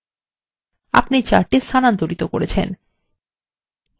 আপনি chart স্থানান্তর করেছেন